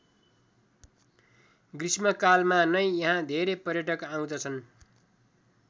ग्रीष्‍म कालमा नै यहाँ धेरै पर्यटक आउँदछन्।